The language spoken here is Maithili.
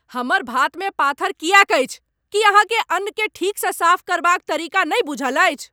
हमर भातमे पाथर किएक अछि? की अहाँकेँ अन्न केँ ठीकसँ साफ करबाक तरीका नहि बूझल अछि ?